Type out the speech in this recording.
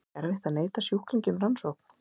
Er ekki erfitt að neita sjúklingi um rannsókn?